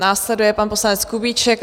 Následuje pan poslanec Kubíček.